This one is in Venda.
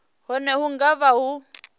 hune hu nga vha ho